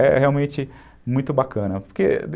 É realmente muito bacana, porque